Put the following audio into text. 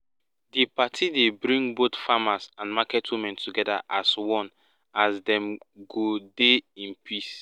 di party dey bring both farmers and market women together as one as dem go dey in peace